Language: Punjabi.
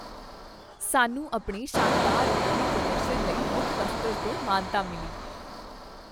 ਸਾਨੂੰ ਆਪਣੇ ਸ਼ਾਨਦਾਰ ਵਿਕਰੀ ਪ੍ਰਦਰਸ਼ਨ ਲਈ ਮੁੱਖ ਦਫ਼ਤਰ ਤੋਂ ਮਾਨਤਾ ਮਿਲੀ।